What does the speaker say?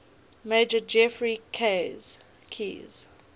major geoffrey keyes